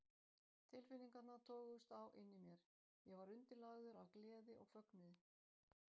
Tilfinningarnar toguðust á inni í mér: Ég var undirlagður af gleði og fögnuði